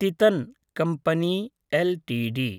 Titan company LTD